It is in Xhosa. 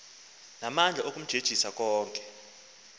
namandla okumjenxisa konke